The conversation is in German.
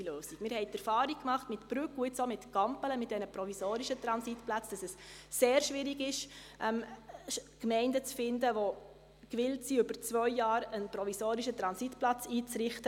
Wir haben die Erfahrung gemacht mit Brügg und jetzt auch mit Gampelen, mit diesen provisorischen Transitplätzen, dass es sehr schwierig ist, Gemeinden zu finden, die gewillt sind, für zwei Jahre einen provisorischen Transitplatz einzurichten.